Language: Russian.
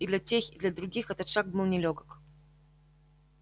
и для тех и для других этот шаг был нелёгок